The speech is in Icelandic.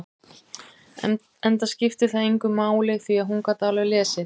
Enda skipti það engu máli, því að hún gat alveg lesið.